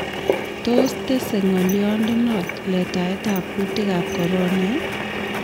Tos tesei ng'olyondenot letaetab kuutikab Corona ?